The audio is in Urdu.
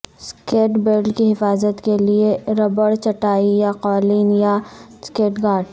سکیٹ بلیڈ کی حفاظت کے لئے ربڑ چٹائی یا قالین یا سکیٹ گارڈز